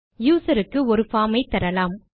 user க்கு ஒரு form ஐ தரலாம்